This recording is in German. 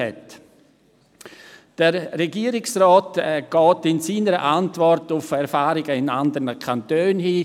Der Regierungsrat geht in seiner Antwort auf Erfahrungen in anderen Kantonen ein.